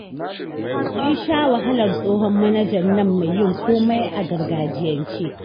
Mun sha wahalar tsohon manajan nan mai yin komai a gargajiyance